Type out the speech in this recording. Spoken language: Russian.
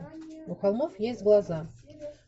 у холмов есть глаза